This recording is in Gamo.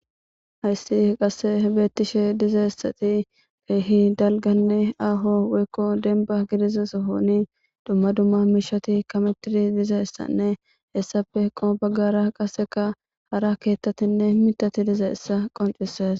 hayssi qasse beettishe dizayisati keehi dalganne aaho woykko demba gidiza sohoni dumma dumma miishati kametiri diza issanne hessafe heqo baggara qaseka hara keettatinne mitati diza issa qoncises